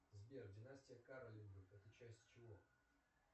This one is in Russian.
сбер династия каролингов это часть чего